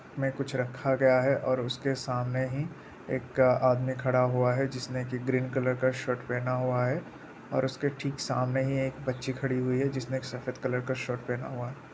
में कुछ रखा गया है और उसके सामने ही एक आदमी खड़ा हुआ है जिसने एक ग्रीन कलर का शर्ट पहना हुआ है और उसके ठीक सामने ही एक बच्ची खड़ी हुई है जिसने एक सफ़ेद कलर का शर्ट पहना हुआ है।